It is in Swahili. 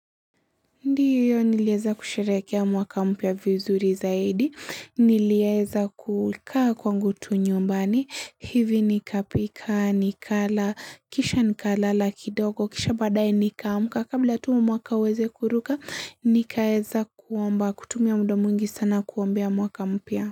Ndiyo nilieza kusherehekea mwaka mpya vizuri zaidi, nilieza kukaa kwangu tu nyumbani, hivi nikapika, nikala, kisha nikalala kidogo, kisha badaaye nikaamka, kabla tu mwaka uweze kuruka, nikaeza kuomba, kutumia mda mwingi sana kuombea mwaka mpya.